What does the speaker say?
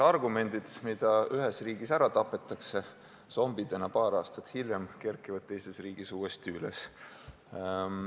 Argumendid, mis ühes riigis ära tapetakse, kerkivad zombidena paar aastat hiljem teises riigis uuesti üles.